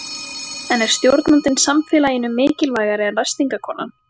En er stjórnandinn samfélaginu mikilvægari en ræstingakonan?